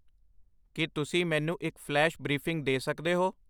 ਕੀ ਤੁਸੀਂ ਮੈਨੂੰ ਇੱਕ ਫਲੈਸ਼ ਬ੍ਰੀਫਿੰਗ ਦੇ ਸਕਦੇ ਹੋ